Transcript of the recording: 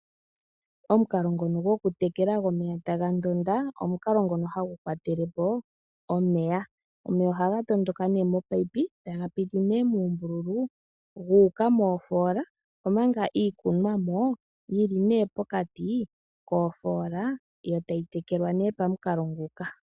Omukalo ngono gwoku tekela gwomeya taga ndonda, omukalo ngono hagu kwatele po omeya. Omeya ohaga tondoka nee mopayipi, taga piti nee muumbululu gu uka moofoola, omanga iikunwamo yili nee pokati koofoola, yo tayi tekelwa nee pamukalo nguka.